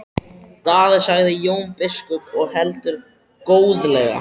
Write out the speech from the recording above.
Daði, sagði Jón biskup og heldur góðlega.